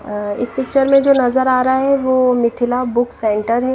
इस पिक्चर में जो नजर आ रहा है वो मिथिला बुक सेंटर है।